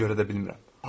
Ona görə də bilmirəm.